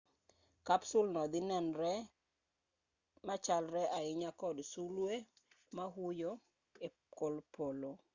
kapsul no dhi nenore machalre ahinya kod sulwe ma huyo e kor polo